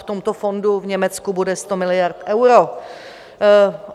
V tomto fondu v Německu bude 100 miliard eur.